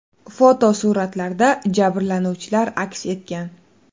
Fotosuratlarda jabrlanuvchilar aks etgan.